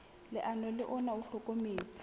leano le ona o hlokometse